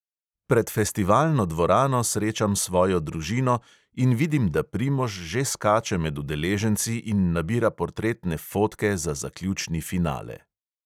Pred festivalno dvorano srečam svojo družino in vidim, da primož že skače med udeleženci in nabira portretne fotke za zaključni finale.